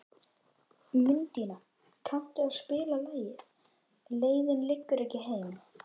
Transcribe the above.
Mundína, kanntu að spila lagið „Leiðin liggur ekki heim“?